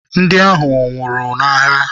Ndị ahụ nwụrụ n'agha.